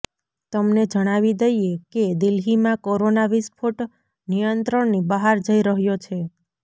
તમને જણાવી દઇએ કે દિલ્હીમાં કોરોના વિસ્ફોટ નિયંત્રણની બહાર જઇ રહ્યો છે